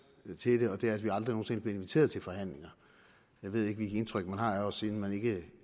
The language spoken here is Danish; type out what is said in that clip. man sige og det er at vi aldrig nogen sinde bliver inviteret til forhandlinger jeg ved ikke hvilket indtryk man har af os siden man ikke